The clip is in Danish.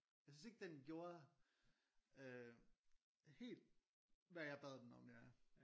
Jeg synes ikke den gjorde øh helt hvad jeg bad den om ja